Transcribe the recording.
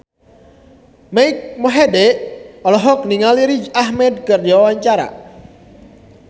Mike Mohede olohok ningali Riz Ahmed keur diwawancara